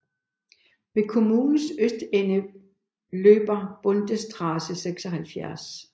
Ved kommunens østende løber Bundesstraße 76